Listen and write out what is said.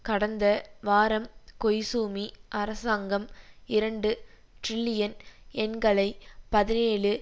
கடந்த வாரம் கொய்ஸுமி அரசாங்கம் இரண்டு டிரில்லியன் யென்களை பதினேழு